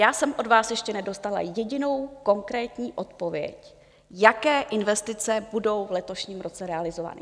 Já jsem od vás ještě nedostala jedinou konkrétní odpověď, jaké investice budou v letošním roce realizovány.